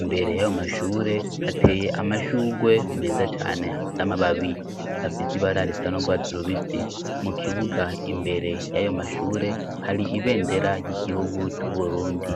Imbere y'ayo mashure hateye amashurwe meza cane afise amababi afise ibara risa n'urwatsi rubisi. Mu kibuga imbere y'ayo mashure hari ibendera ry'igihugu c'Uburundi.